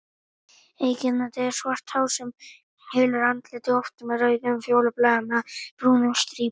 Einkennandi er svart hár sem hylur andlitið, oft með rauðum, fjólubláum eða brúnum strípum.